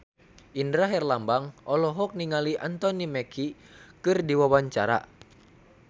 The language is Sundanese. Indra Herlambang olohok ningali Anthony Mackie keur diwawancara